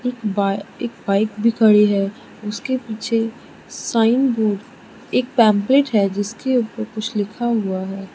Bye एक bike भी खड़ी है उसके पीछे साइन बोर्ड एक पैंपलेट है जिसके ऊपर कुछ लिखा हुआ है।